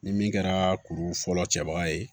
Ni min kɛra kuru fɔlɔ cɛbaga ye